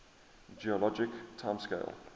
geologic time scale